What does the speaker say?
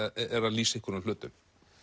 lýsa einhverjum hlutum